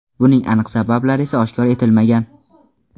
Buning aniq sabablari esa oshkor etilmagan.